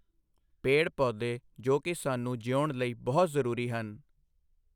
ਪੇੜ ਪੋਦੇ ਜੋ ਕਿ ਸਾਨੂੰ ਜਿਊਣ ਲਈ ਬਹੁਤ ਜ਼ਰੂਰੀ ਹਨ।